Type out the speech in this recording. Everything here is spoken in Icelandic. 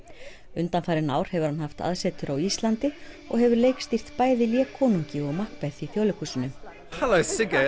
undanfarin ár hefur hann haft aðsetur á Íslandi og hefur leikstýrt bæði Lé konungi og Makbeð í Þjóðleikhúsinu halló Sigga